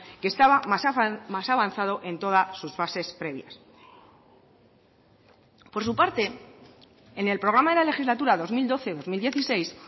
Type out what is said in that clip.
que estaba más avanzado en todas sus fases previas por su parte en el programa de la legislatura dos mil doce dos mil dieciséis